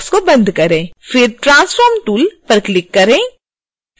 फिर transform tool पर click करें